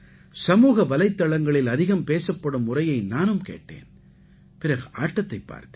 சமூக வலைத்தளங்களில் அதிகம் பேசப்படும் உரையை நானும் கேட்டேன் பிறகு ஆட்டத்தைப் பார்த்தேன்